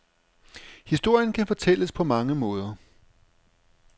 Historien kan fortælles på mange måder.